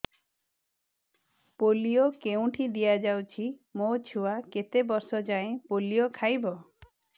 polio କେଉଁଠି ଦିଆଯାଉଛି ମୋ ଛୁଆ କେତେ ବର୍ଷ ଯାଏଁ ପୋଲିଓ ଖାଇବ